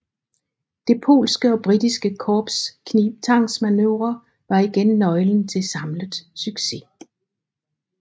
Det polske og britiske korps knibtangsmanøvre var igen nøglen til samlet succes